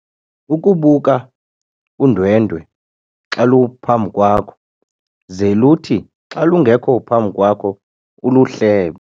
Ukubuka udwendwe xa luphambi kwakho ze luthi xa lungekho phambi kwakho uluhlebe.